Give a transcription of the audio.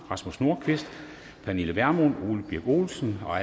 rasmus nordqvist pernille vermund ole birk olesen og